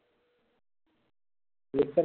lecture